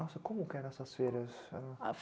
Nossa, como que eram essas feiras?